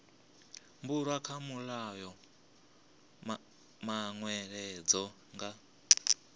bulwa kha mulayo manweledzo nga